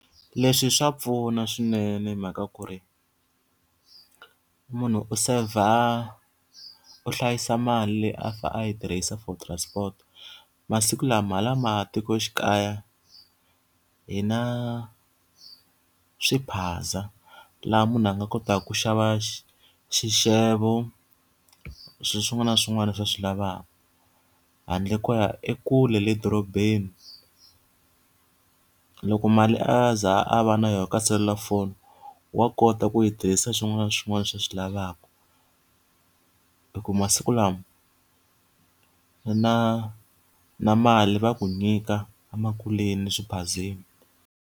Leswi swa pfuna swinene hi mhaka ku ri, munhu u seyivha u hlayisa mali leyi a fanele a yi tirhisa for transport. Masiku lama hala matikoxikaya hi na swiphaza, laha munhu a nga kotaka ku xava xixevo, swilo swin'wana na swin'wana leswi a swi lavaka handle ko ya ekule le dorobeni. Loko mali a ze a va na yona ka selulafoni wa kota ku yi tirhisa swin'wana na swin'wana leswi a swi lavaka. Hikuva masiku lawa na na mali va ku nyika emakuleni eswiphazeni.